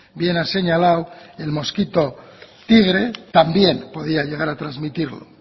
bien ha señalado el mosquito tigre también podía llegar a trasmitirlo